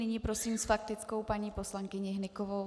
Nyní prosím s faktickou paní poslankyni Hnykovou.